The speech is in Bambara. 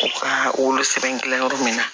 U ka wolo sɛbɛn kɛ yɔrɔ min na